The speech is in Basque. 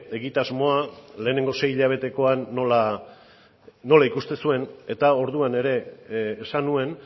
egitasmoa lehenengo seihilabetekoan nola ikusten zuen eta orduan ere esan nuen